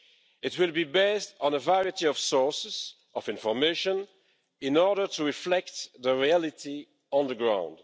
It will be based on a variety of sources of information in order to reflect the reality on the ground.